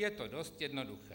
Je to dost jednoduché.